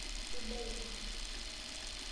Sidai ina.